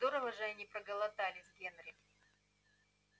здорово же они проголодались генри